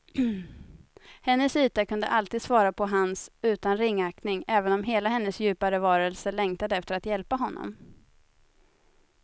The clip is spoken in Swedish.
Hennes yta kunde alltid svara på hans utan ringaktning, även om hela hennes djupare varelse längtade efter att hjälpa honom.